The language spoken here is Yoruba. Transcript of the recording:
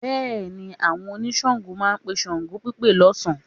Bẹ́ẹ̀ni, àwọn oníṣàngó máa pe ṣàngópípe lọ́sàn-án